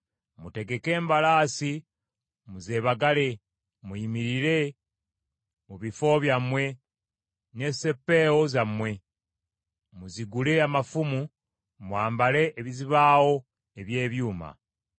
Mutegeke embalaasi muzeebagale! Muyimirire mu bifo byammwe n’esseppeewo zammwe! Muzigule amafumu, mwambale ebizibaawo eby’ebyuma!